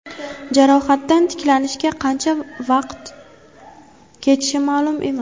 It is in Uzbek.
Jarohatdan tiklanishga qancha vaqat ketishi ma’lum emas.